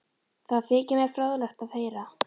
Það þykir mér fróðlegt að heyra